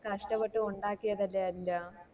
കഷ്ടപ്പെട്ട് ഉണ്ടാക്കിയത് അല്ലെ അത് എല്ലാം